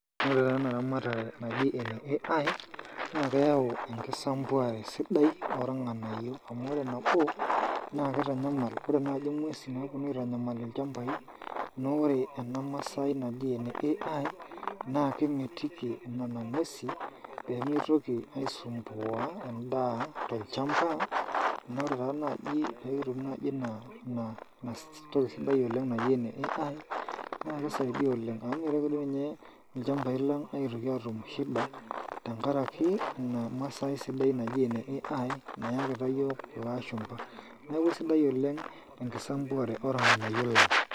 Ore taa ena eramatare naaji ene AI naa keaku ekisapuare sidai oo irnganayio amu ore nabo naa kitanyamal naaji inguesin naponu aitanyamal ilchambai naa ore ena masai naaji ene AI naa kemitiki inana nguesi pemitoki aisupuan endaa tolchamba naa wore taa naaji pee kitum naaji ina toki sidai naaji ene AI naa kisaidia oleng amu emitoki ninye ilchambai lang aitoki atum shida tenkaraki ina masai sidai naaji ene AI nayakita iyiok ilashupa neaku isidai oleng ekisapuare oo irnganayio.